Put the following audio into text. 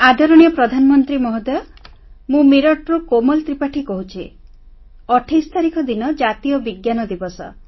ଆଦରଣୀୟ ପ୍ରଧାନମନ୍ତ୍ରୀ ମହୋଦୟ ମୁଁ ମିରଟରୁ କୋମଲ ତ୍ରିପାଠୀ କହୁଛି 28 ତାରିଖ ଦିନ ଜାତୀୟ ବିଜ୍ଞାନ ଦିବସ